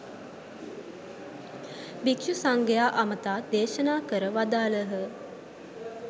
භික්ෂු සංඝයා අමතා දේශනා කර වදාළහ.